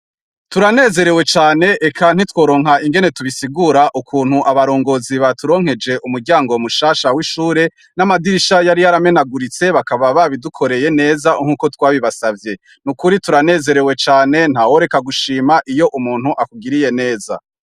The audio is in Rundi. Turanezerewe cane eka ntitworonka ingene tubisigura ukuntu abarongozi ba turonkeje umuryango w mushasha w'ishure n'amadirisha yari yaramenaguritse bakaba babidukoreye neza nk'uko twabibasavye ni ukuri turanezerewe cane nta woreka gushima iyo umuntu akugiriye neza.